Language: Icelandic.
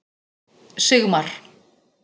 Sigmar